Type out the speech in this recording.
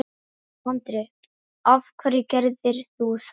Andri: Af hverju gerirðu það?